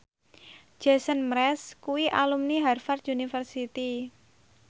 Jason Mraz kuwi alumni Harvard university